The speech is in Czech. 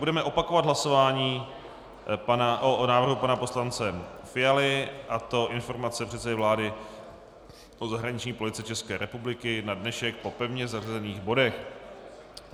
Budeme opakovat hlasování o návrhu pana poslance Fialy, a to Informace předsedy vlády o zahraniční politice České republiky na dnešek po pevně zařazených bodech.